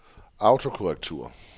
autokorrektur